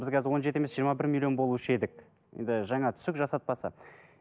біз қазір он жеті емес жиырма бір миллион болушы едік енді жаңа түсік жасатпаса